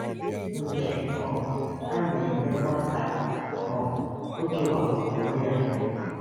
Nke um a na-emekwa ka um ọ kewapụrụ onwe ya n'ụwa.